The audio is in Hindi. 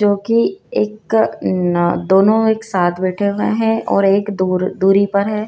जो कि एक न दोनों एक साथ बैठे हुए हैं और एक दोर दूरी पर है।